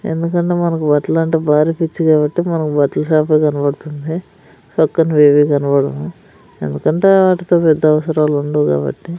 ఎందుకంటే మనకు బట్టలంటే భారీ పిచ్చి కాబట్టి మనకు బట్టల షాపే కనపడుతుంది పక్కనవేవీ కనబడవు ఎందుకంటే ఆటితో పెద్ద అవసరాలు ఉండవు కాబట్టి.